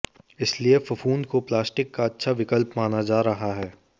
इसलिए फफूंद को प्लास्टिक का अच्छा विकल्प माना जा रहा है